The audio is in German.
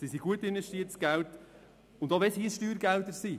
Es ist gut investiertes Geld, auch wenn es Steuergelder sind.